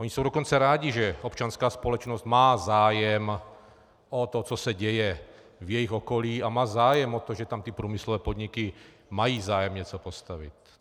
Oni jsou dokonce rádi, že občanská společnost má zájem o to, co se děje v jejich okolí, a má zájem o to, že tam ty průmyslové podniky mají zájem něco postavit.